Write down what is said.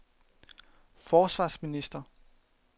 forsvarsminister